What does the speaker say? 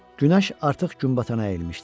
Günəş artıq günbatana əyilmişdi.